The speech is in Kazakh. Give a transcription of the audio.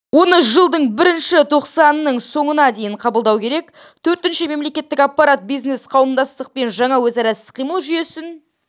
оны жылдың бірінші тоқсанының соңына дейін қабылдау керек төртінші мемлекеттік аппарат бизнес-қауымдастықпен жаңа өзара іс-қимыл жүйесін